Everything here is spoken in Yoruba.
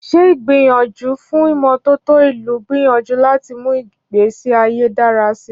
Ṣé ìgbìyànjú fún ìmọ́tótó ìlú ń gbìyànjú láti mú ìgbésí ayé dára síi?